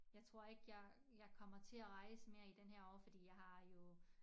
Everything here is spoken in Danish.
Jeg tror ikke jeg jeg kommer til at rejse mere i den her år fordi jeg har jo